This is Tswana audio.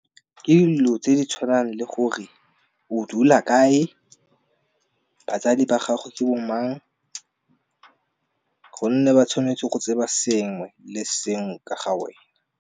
Ke dilo tse di tshwanang le gore o dula kae, batsadi ba gagwe ke bo mang, gonne ba tshwanetse go tseba sengwe le sengwe ka ga wena.